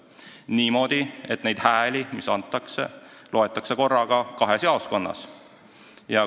Asi käiks niimoodi, et antud hääli loetakse korraga kahes jaoskonnas.